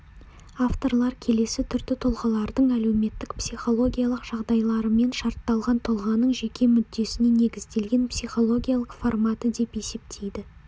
авторлар келесі түрді тұлғалардың әлеуметтік-психологиялық жағдайларымен шартталған тұлғаның жеке мүддесіне негізделген психологиялық форматы деп есептейді